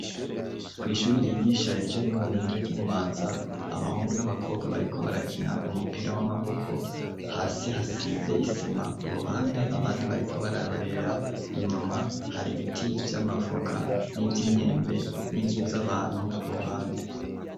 Kw' ishuri ryigisha ibijaye n'ubuhinga ry'iBubanza ,abahungu n'abakobwa bariko barakina umupira w'amaboko, hasi hasize isima, ku ruhande abandi bariko bararorera, inyuma hari biti vy'amavoka n'ivy'imyembe n'inzu z'abantu kuruhande